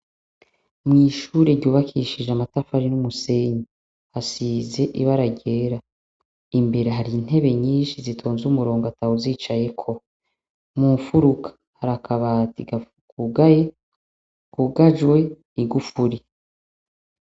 Mw'ishure ryubakishije amatafari n'umusenyi. Hasize ibara ryera. Imbere hari intebe nyinshi zitonze umurongo ata wuzicayeko. Mu mfuruka, hari akabati kugaye, kugajwe igufuri.